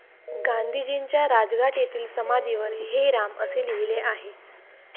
गांधीजींच्या राजघाट येथील समाधीवर 'हे राम' असे लिहिले आहे.